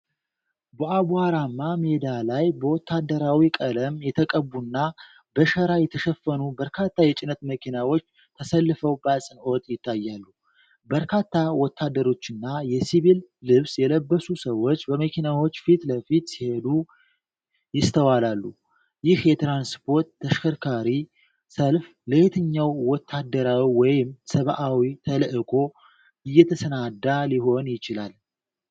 በአቧራማ ሜዳ ላይ በወታደራዊ ቀለም የተቀቡና በሸራ የተሸፈኑ በርካታ የጭነት መኪናዎች ተሰልፈው በአጽንዖት ይታያሉ። በርካታ ወታደሮችና የሲቪል ልብስ የለበሱ ሰዎች በመኪናዎቹ ፊት ለፊት ሲሄዱ ይስተዋላል። ይህ የትራንስፖርት ተሽከርካሪ ሰልፍ ለየትኛው ወታደራዊ ወይም ሰብዓዊ ተልዕኮ እየተሰናዳ ሊሆን ይችላል?